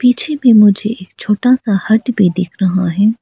पीछे भी मुझे एक छोटा सा हट भी दिख रहा है।